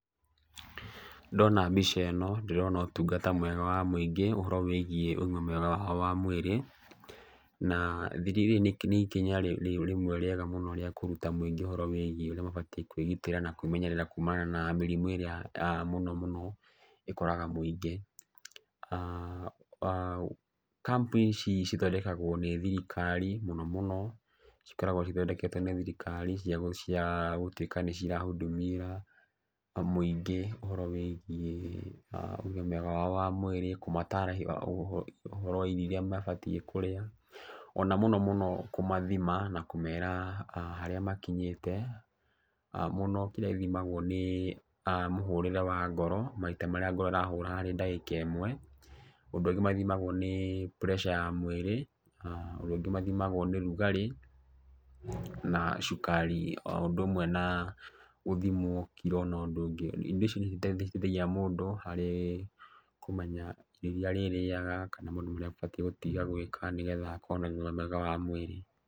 Ndona mbica ĩno ndĩrona ũtungata mwega wa mũingĩ ũhoro wĩgiĩ ũgima mwega wa mwĩrĩ. Na nĩ ikinya rĩmwe rĩega mũno rĩa kũruta mũingĩ ũhoro wĩgiĩ urĩa mabatiĩ kwĩgitĩra na kwĩmenyerera na mĩrimũ ĩrĩa mũno mũno ĩkoraga mũingĩ. Camp ici cithondekagwo nĩ thirikari mũno mũno cikaragwo cithondeketwo nĩ thirikari cia gũtuĩka nĩ cira hudumia mũingĩ ũhoro wĩgiĩ ũgima wao wa mwĩrĩ, kũmataarĩrĩa ũhoro wa irio irĩa mabatiĩ kũrĩa, ona mũno mũno kũmathima na kũmera harĩa makinyĩte. Mũno kĩrĩa gĩthimagwo nĩ mũhũrĩre wa ngoro, maita marĩa ngoro ĩrahũra harĩ ndagĩka ĩmwe. Ũndũ ũngĩ mathimagwo nĩ pressure ya mwĩrĩ, ũndũ ũngĩ mathimagwo nĩ ũrugarĩ na cukari o ũndũ ũmwe na gũthimwo kiro na ũndũ ũngĩ. Indo ici nĩ citeithagia mũndũ harĩ kũmenya irio irĩa arĩrĩaga kana maũndũ marĩa abatiĩ gũtiga gwĩka nĩgetha akorwo na ũgima mwega wa mwĩrĩ.